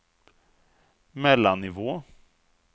mellannivå